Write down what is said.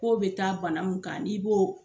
Kow be taa bana min kan n'i bɔ